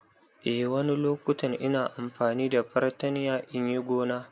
Eh wani loƙutan ina amfani da fartanya inyi gona.